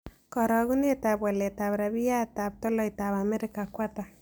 Karogunetap waletap rabiyatap tolaitap amerika ko ata